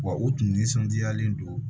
Wa u tun nisɔndiyalen don